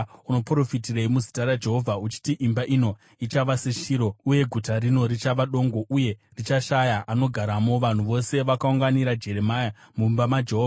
Unoprofitirei muzita raJehovha uchiti imba ino ichava seShiro uye guta rino richava dongo uye richashaya anogaramo?” Vanhu vose vakaunganira Jeremia mumba maJehovha.